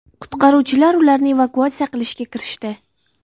Qutqaruvchilar ularni evakuatsiya qilishga kirishdi.